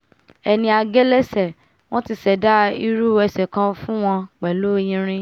ẹni a gé lẹ́sẹ̀ wọ́n ti ṣẹ̀dá irú ẹsẹ̀ kan fún wọn pẹ̀lú irin